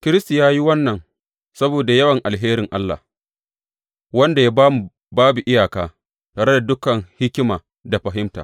Kiristi ya yi wannan saboda yawan alherin Allah wanda ya ba mu babu iyaka tare da dukan hikima da fahimta.